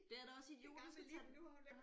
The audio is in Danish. Det er da også idiotisk at tage den